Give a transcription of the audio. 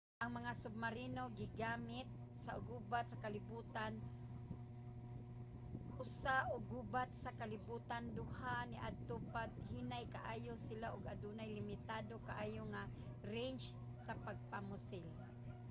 ang mga submarino gigamit sa gubat sa kalibutan i ug gubat sa kalibutan ii. niadto pa hinay kaayo sila ug adunay limitado kaayo nga range sa pagpamusil